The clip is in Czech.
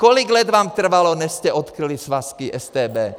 Kolik let vám trvalo, než jste odkryli svazky StB?